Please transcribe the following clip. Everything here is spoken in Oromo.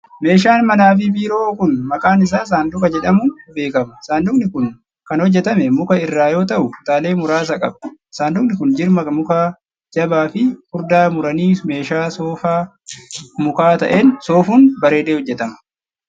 Meeshaan manaa fi biiroo kun, maqaan isaa saanduqa jedhamuun beekama. Saanduqni kun kan hojjatame muka irraa yoo ta'u, kutaalee muraasa qaba. Saanduqni kun jirma mukaa jabaa fi furdaa muranii meeshaa soofaa mukaa ta'een soofun, bareedee hojjatama.